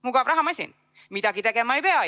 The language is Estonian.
Mugav rahamasin – midagi tegema ei pea!